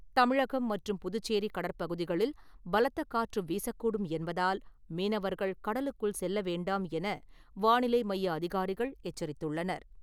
தமிழகம் மற்றும் புதுச்சேரி கடற்பகுதிகளில் பலத்த காற்று வீசக்கூடும் என்பதால் மீனவர்கள் கடலுக்குள் செல்ல வேண்டாம் என வானிலை மைய அதிகாரிகள் எச்சரித்துள்ளனர்.